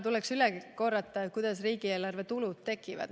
Tuleb üle korrata, kuidas riigieelarve tulud tekivad.